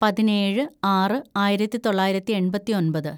പതിനേഴ് ആറ് ആയിരത്തിതൊള്ളായിരത്തി എണ്‍പത്തിയൊമ്പത്‌